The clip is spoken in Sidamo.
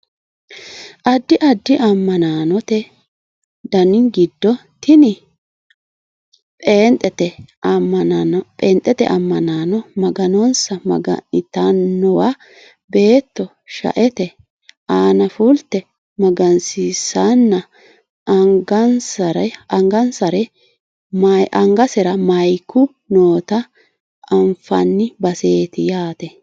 addi addi amma'note dani giddo tini pheenxete ammanaano maganonsa maga'nitannowa beetto shaete aana fulte magansiissanna anagasera mayeeku noota anfanni baseeti yaate